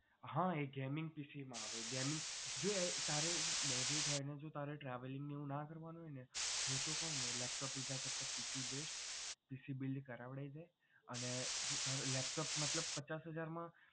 હા એ gaming PC માં આવે જો તારે budget હોય અને જો તારે travelling નું ના કરવાનું હોય ને હું તો કહું laptop લીધા કરતાં PC build PC build કરાવી લે અને તારે laptop મતલબ પચાસ હજારમા